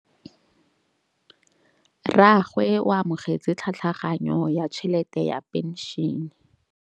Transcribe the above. Rragwe o amogetse tlhatlhaganyô ya tšhelête ya phenšene.